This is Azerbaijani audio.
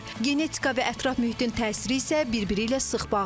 Genetika və ətraf mühitin təsiri isə bir-biri ilə sıx bağlıdır.